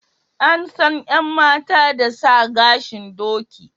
An san yan mata da sa gashin doki